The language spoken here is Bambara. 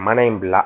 Mana in bila